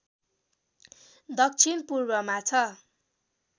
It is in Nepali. दक्षिण पूर्वमा छ